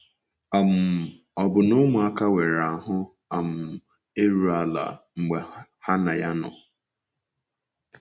um Ọbụna ụmụaka nwere ahụ́ um iru ala mgbe ha na ya nọ.